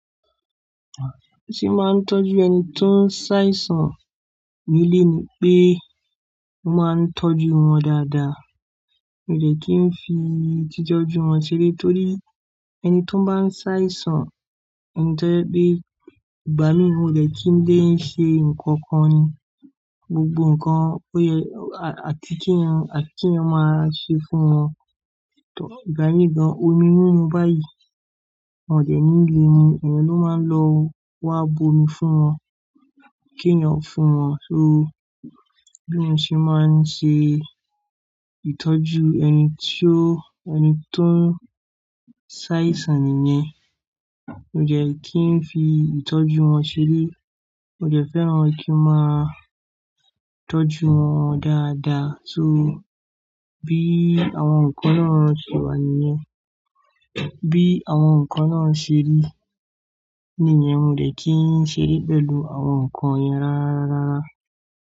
Bí mo ṣe máa ń tọ́jú ẹni tó ń ṣàìsàn nílé ni pé mo máa ń tọ́jú wọn dáadáa. Mi ò jẹ́ kí n fi ìtọ́jú wọn ṣeré torí ẹni tó ń bá ń ṣàìsàn, ẹni tó jẹ́ pé ìgbà mí ò jẹ́ kí n dé ṣe nǹkan kan ní, gbogbo nǹkan ó yẹ àfi kí eeyan maa ṣe fún wọn. To ìgbà mí gan, omi mímu báyìí, wọ́n ò de nílé mili, eeyan ló máa ń lọ wá bo omi fún wọn, kí n eyan fún wọn. So bí mo ṣe máa ń ṣe ìtọ́jú ẹni tó, ẹni tó ń ṣàìsàn nìyẹn. Mi ò jẹ́ kí n fi ìtọ́jú wọn ṣeré. Mo jẹ́ fẹ́ràn kí n máa tọ́jú wọn dáadáa. So bí àwọn nǹkan náà ṣe wà nìyẹn. Bí àwọn nǹkan náà ṣe rí nìyẹn, mo jẹ́ kí ń ṣe é pẹ̀lú àwọn nǹkan yẹn rárárárá.